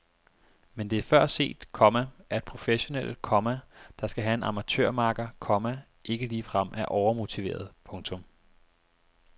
Men det er før set, komma at professionelle, komma der skal have en amatørmakker, komma ikke ligefrem er overmotiverede. punktum